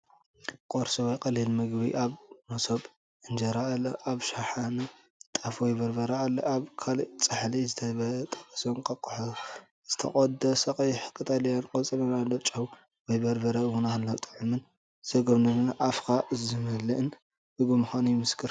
ቁርሲ ወይ ቀሊል ምግቢ ፣ ኣብ መሶብ እንጀራኣሎ። ኣብ ሻሃነ ጣፍ ወይ በርበረ ኣሎ። ኣብ ካልእ ጻሕሊ ዝተጠበሰ እንቋቑሖ፡ ዝተቖርጸ ቀይሕ ቀጠልያ ቆጽልን ኣሎ። ጨው ወይ በርበረ እውን ኣሎ። ጥዑምን ዘጎምጅውን ኣፍካ ዝመልእን ምግቢ ምዃኑ ይምስክር፡፡